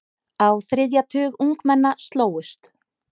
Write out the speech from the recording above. Á þriðja tug ungmenna slógust.